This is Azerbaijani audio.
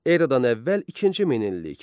Eradan əvvəl ikinci minillik.